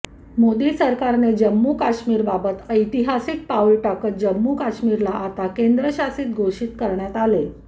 मोदी सरकारने जम्मू काश्मीरबाबत ऐतिहासिक पाऊल टाकत जम्मू काश्मीरला आता केंद्रशासित घोषित करण्यात आले